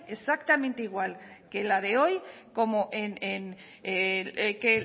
exactamente igual que en la de hoy como en que